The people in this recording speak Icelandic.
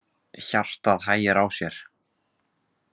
Hjartað hægir á sér.